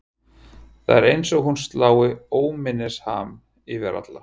Það er eins og hún slá óminnisham yfir alla.